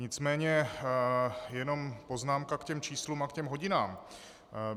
Nicméně jenom poznámka k těm číslům a k těm hodinám.